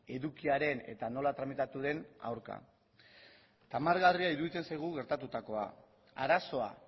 edukiaren eta nola tramitatu den aurka tamalgarria iruditzen zaigu gertatutakoa arazoa